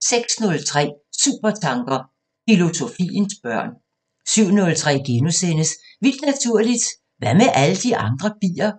06:03: Supertanker: Filosofiens børn 07:03: Vildt Naturligt: Hvad med alle de andre bier?